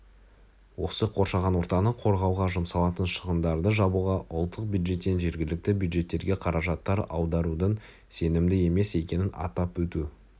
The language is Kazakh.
осы қоршаған ортаны қорғауға жұмсалатын шығындарды жабуға ұлттық бюджеттен жергілікті бюджеттерге қаражаттар аударудың сенімді емес екенін атап өту